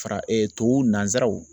Fara tubabu nansaraw